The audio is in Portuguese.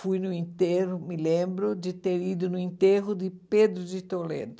Fui no enterro, me lembro de ter ido no enterro de Pedro de Toledo.